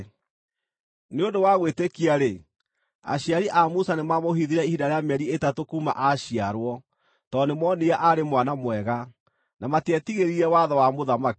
Nĩ ũndũ wa gwĩtĩkia-rĩ, aciari a Musa nĩmamũhithire ihinda rĩa mĩeri ĩtatũ kuuma aaciarwo tondũ nĩmoonire aarĩ mwana mwega, na matietigĩrire watho wa mũthamaki.